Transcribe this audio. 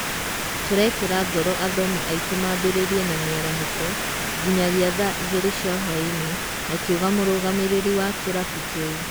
Tũrekĩra ngoro athomi aitũ mambĩrĩrie na mĩarahũko nginyagia tha igĩrĩ cia hũainĩ akiuga mũrũgamĩrĩri wa kĩrabu kĩu.